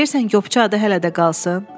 Deyirsən Qopçu adı hələ də qalsın?